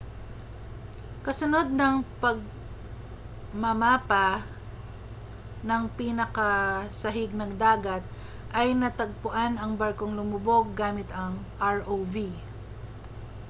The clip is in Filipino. kasunod ng pagmamapa ng pinakasahig ng dagat ay natagpuan ang barkong lumubog gamit ang rov